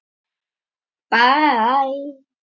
Það tekur ekki andartak.